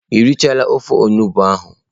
Ị richaala ofe onugbu ahụ?